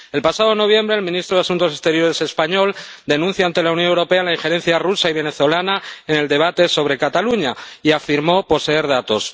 El pasado noviembre el ministro de Asuntos Exteriores español denunció ante la Unión Europea la injerencia rusa y venezolana en el debate sobre Cataluña, y afirmó poseer datos.